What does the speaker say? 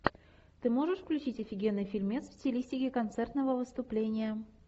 ты можешь включить офигенный фильмец в стилистике концертного выступления